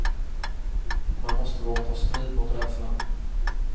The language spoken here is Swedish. Man måste våga ta strid mot rädslan.